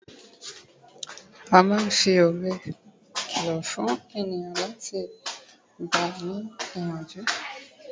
a ma n fi òwe kìlọ fún ènìyàn ati láti gbani ni iyanju